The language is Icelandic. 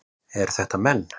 Eru þetta menn?